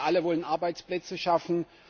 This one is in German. Wir alle wollen Arbeitsplätze schaffen.